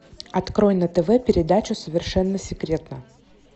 открой на тв передачу совершенно секретно